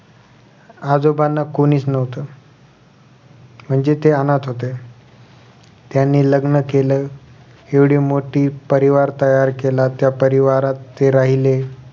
आजोबांना कोणीच नव्हतं म्हणजे ते अनाथ होते त्यांनी लग्न केले एवढी मोठी परिवार तयार केला त्या परिवारात ते राहिले